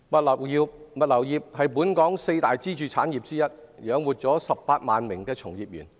物流業是本港四大支柱產業之一，養活了18萬名從業員。